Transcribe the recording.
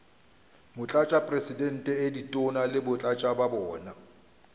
motlatšamopresidente ditona le batlatšatona ba